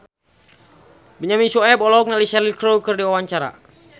Benyamin Sueb olohok ningali Cheryl Crow keur diwawancara